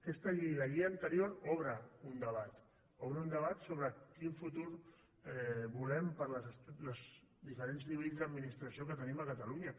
aquesta llei i la llei anterior obren un debat obren un debat sobre quin futur volem per als diferents nivells d’administració que tenim a catalunya